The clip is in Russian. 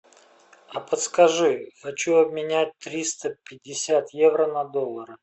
подскажи хочу обменять триста пятьдесят евро на доллары